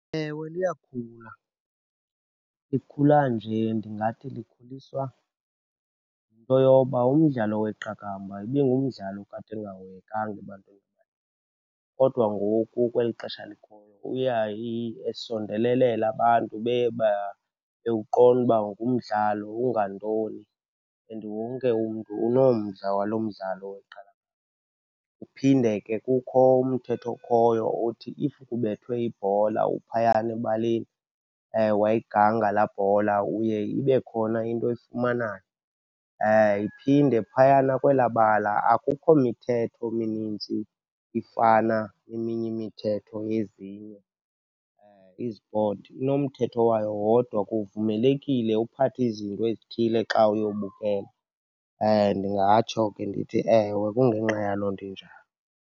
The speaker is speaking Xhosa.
Ewe, liyakhula. Likhula nje ndingathi likhuliswa yinto yoba umdlalo weqakamba ibingumdlalo okade ungahoyekanga ebantwini, kodwa ngoku kweli xesha likhoyo uya esondelelela. Abantu baye bewuqonda uba ngumdlalo ungantoni and wonke umntu unomdla walo mdlalo weqakamba. Kuphinde ke kukho umthetho okhoyo othi if kubethwe ibhola uphayana ebaleni, wayiganga laa bhola, uye ibe khona into oyifumanayo. Iphinde phayana kwelaa bala akukho mithetho minintsi ifana neminye imithetho yezinye izipoti, inomthetho wayo wodwa. Kuvumelekile uphathe izinto ezithile xa uyobukela. Ndingatsho ke ndithi, ewe, kungenxa yaloo nto injalo.